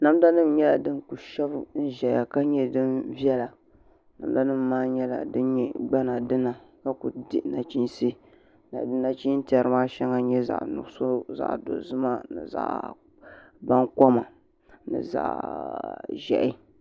Namda nim nyɛla din ku shɛbi n ʒɛya ka nyɛ din viɛla namda nim maa nyɛla din nyɛ gbana dina ka ku dihi nachiinsi nachin tiɛri maa shɛli n nyɛ zaɣ nuɣso ni zaɣ baŋkoma ni zaɣ ʒiɛhi